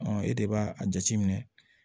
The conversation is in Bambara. e de b'a a jateminɛ